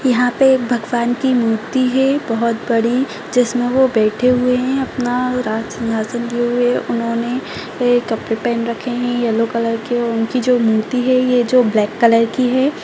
यहाँ पे एक भगवान की मूर्ति है बहोत बड़ी जिसमें वो बैठे हुए हैं अपना राज सिंहासन लिए हुए उन्होंने कपड़े पहन रखे हैं येलो कलर के और उनकी जो ये मूर्ति है ये जो ब्लैक कलर की है।